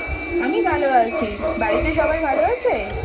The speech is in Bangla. আমি ভালো আছি। বাড়িতে সবাই ভালো আছে?